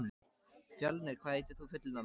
Fjölnir, hvað heitir þú fullu nafni?